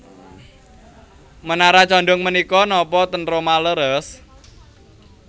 Menara condong menika nopo ten Roma leres?